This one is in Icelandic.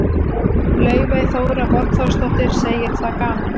Laufey Þóra Borgþórsdóttir, segir það gaman.